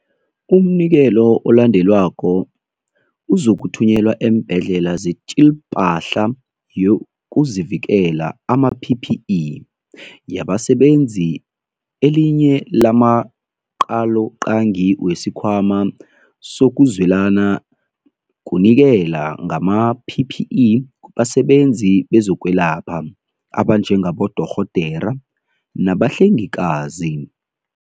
Umnikelo olandelako uzokuthunyelwa eembhedlela zeTjiIPahla YokuziVikela, ama-PPE, Yabasebenzi Elinye lamaqaloqangi wesiKhwama sokuZwelana kunikela ngama-PPE kubasebenzi bezokwelapha abanjengabodorhodera nabahlengikazi.